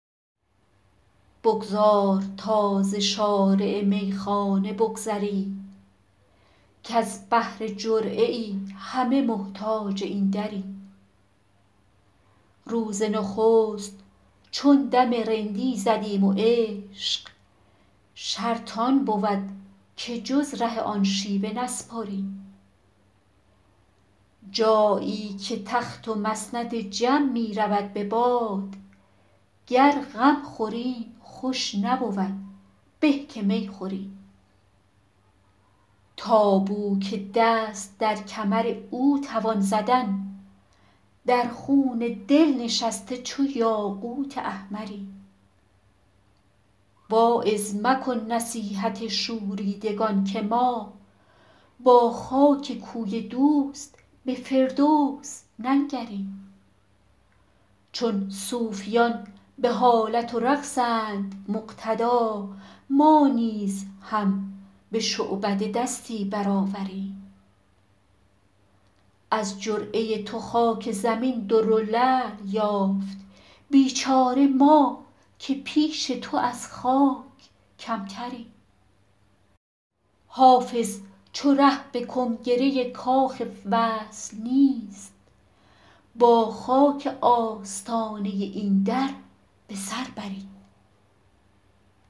بگذار تا ز شارع میخانه بگذریم کز بهر جرعه ای همه محتاج این دریم روز نخست چون دم رندی زدیم و عشق شرط آن بود که جز ره آن شیوه نسپریم جایی که تخت و مسند جم می رود به باد گر غم خوریم خوش نبود به که می خوریم تا بو که دست در کمر او توان زدن در خون دل نشسته چو یاقوت احمریم واعظ مکن نصیحت شوریدگان که ما با خاک کوی دوست به فردوس ننگریم چون صوفیان به حالت و رقصند مقتدا ما نیز هم به شعبده دستی برآوریم از جرعه تو خاک زمین در و لعل یافت بیچاره ما که پیش تو از خاک کمتریم حافظ چو ره به کنگره کاخ وصل نیست با خاک آستانه این در به سر بریم